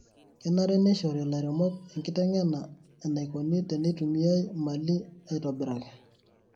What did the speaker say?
Kenare neishori lairemok enkitengena enaikoni teneitumiai mali aitobiraki.